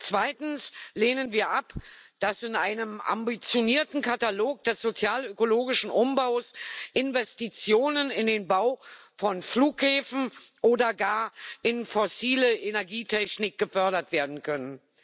Zweitens lehnen wir es ab, dass in einem ambitionierten Katalog des sozialökologischen Umbaus Investitionen in den Bau von Flughäfen oder gar in fossile Energietechnik gefördert werden können.